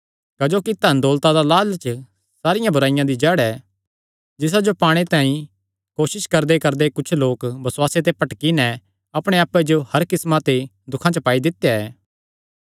क्जोकि धनदौलता दा लालच सारियां बुराईआं दी जड़ ऐ जिसा जो पाणे तांई कोसस करदेकरदे कुच्छ लोक बसुआसे ते भटकी नैं अपणे आप्पे जो हर किस्मां दे दुखां च पाई दित्या ऐ